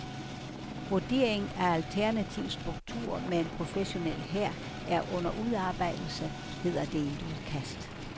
Vurdering af alternativ struktur med en professionel hær er under udarbejdelse, hedder det i udkastet.